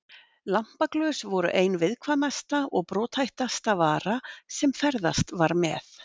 Lampaglös voru ein viðkvæmasta og brothættasta vara sem ferðast var með.